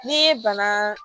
Ni bana